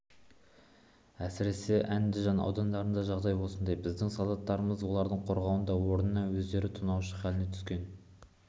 әсіресе әндіжан аудандарында жағдай осындай біздің солдаттарымыз оларды қорғаудың орнына өздері тонаушы халіне түскен